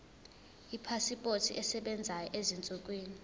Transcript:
ipasipoti esebenzayo ezinsukwini